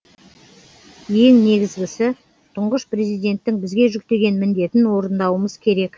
ең негізгісі тұңғыш президенттің бізге жүктеген міндетін орындауымыз керек